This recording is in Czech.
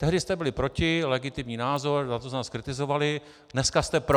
Tehdy jste byli proti, legitimní názor, za to jsme vás kritizovali - dneska jste pro.